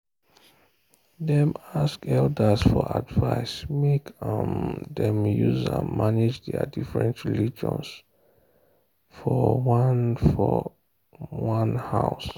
dem ask elders for advice make um dem use am manage their different religions for one for one house.